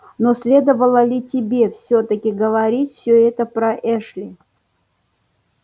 но следовало ли тебе всё-таки говорить все это про эшли